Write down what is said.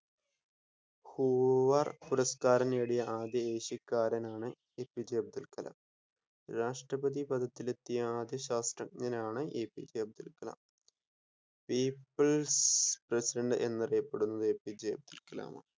Hoover പുരസ്കാരം നേടിയ ആദ്യ ഏഷ്യാകാരനാണ് എപിജെ അബ്ദുൽ കലാം രാഷ്‌ട്രപ്രതി പഥത്തിലെത്തിയ ആദ്യ ശാസ്ത്രജ്ഞഞ്ഞാണ് APJ Abdul Kalam, peoples president എന്ന് അറിയപ്പെടുന്നത് എപിജെ അബ്ദുൽ കലാമാണ്,